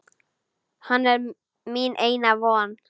Hann er mín eina von.